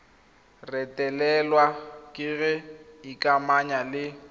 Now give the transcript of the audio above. retelelwa ke go ikamanya le